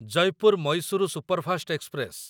Jaipur Mysuru superfast express